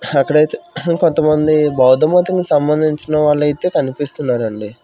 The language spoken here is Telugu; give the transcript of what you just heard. అక్కడైతె కొంత మంది బౌద్ధ మతం కు సంబందించిన వాళ్ళైతే కనిపిస్తున్నారండి.